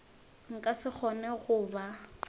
nka se kgone go ba